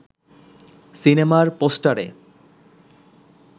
সিনেমার পোস্টারে